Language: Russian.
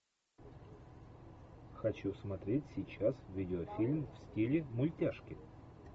хочу смотреть сейчас видеофильм в стиле мультяшки